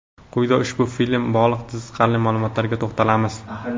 Quyida ushbu film bilan bog‘liq qiziqarli ma’lumotlarga to‘xtalamiz.